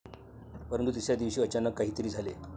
परंतु तिसऱ्या दिवशी अचानक काहीतरी झाले.